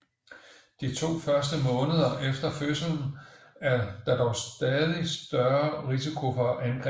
De to første måneder efter fødslen er der dog større risiko for angreb